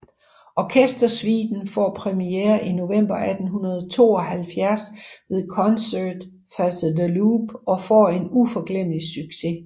Orkestersuiten får premiere i november 1872 ved Concerts Pasdeloup og får en uforglemmelig succes